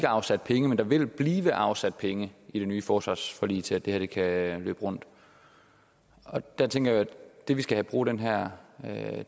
afsat penge men der vil blive afsat penge i det nye forsvarsforlig til at det her kan løbe rundt jeg tænker at det vi skal bruge den her